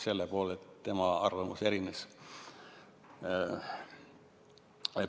Selle poolest tema arvamus erines.